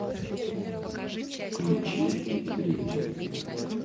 включи трип